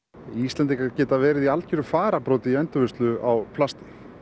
Íslendingar geta verið í algjörum fararbroddi í endurvinnslu á plasti